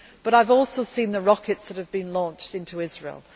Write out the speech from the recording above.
and security. However, I have also seen the rockets that have been launched